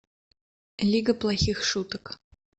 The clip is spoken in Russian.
лига плохих шуток